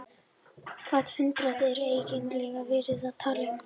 Hvaða hundrað er eiginlega verið að tala um?